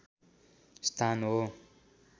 स्थान हो